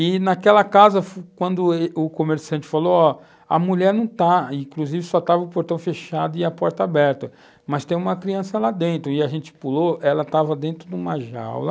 E naquela casa, quando o comerciante falou, ó, a mulher não está, inclusive só estava o portão fechado e a porta aberta, mas tem uma criança lá dentro, e a gente pulou, ela estava dentro de uma jaula,